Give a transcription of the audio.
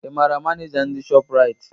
Ị maara Maneja ndị shọpụraiti?